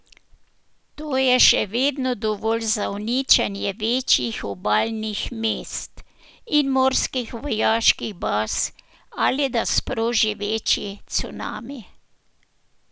To je še vedno dovolj za uničenje večjih obalnih mest in morskih vojaških baz ali da sproži večji cunami.